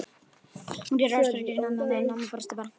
Hún gerði óspart grín að mömmu, en mamma brosti bara.